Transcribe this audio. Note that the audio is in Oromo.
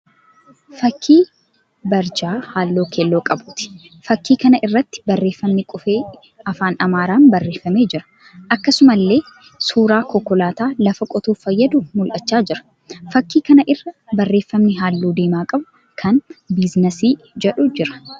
Fakkii barjaa halluu keelloo qabuuti. Fakkii kana irratti barreeffamni qubee afaan Amaaraan barreeffamee jira. Akkasuamallee suuraan konkolaataa lafa qotuuf fayyaduu mul'achaa jira. Fakkii kana irra barreeffamni halluu diimaa qabu kan 'biizineesii' jedhu jira.